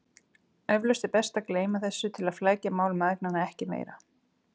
Eflaust er best að gleyma þessu til að flækja mál mæðgnanna ekki meira.